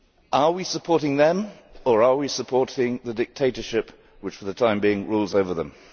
Are we supporting them, or are we supporting the dictatorship which, for the time being, rules over them?